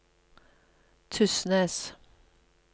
Tysnes